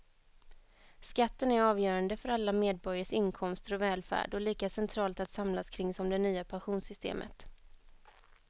Skatten är avgörande för alla medborgares inkomster och välfärd och lika centralt att samlas kring som det nya pensionssystemet.